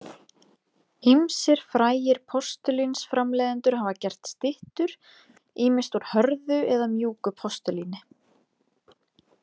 Ýmsir frægir postulínsframleiðendur hafa gert styttur, ýmist úr hörðu eða mjúku postulíni.